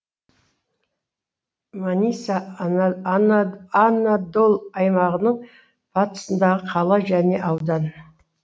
маниса анадолы аймағының батысындағы қала және аудан